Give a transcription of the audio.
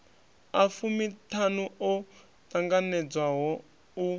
a fumiṱhanu o ṱanganedzwaho u